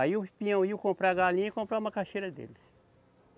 Aí os peão iam comprar a galinha e compravam a macaxeira deles.